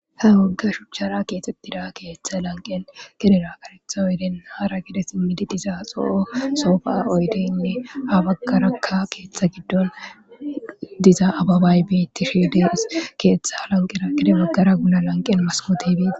Ha woga shuchara kexetida ketha lanqen gedera so oyide hara gede simida soho sofa oyide ha bagaraka ketha gidon diza ababayi betishe dee's